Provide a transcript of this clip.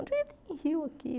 Onde é que tem rio aqui?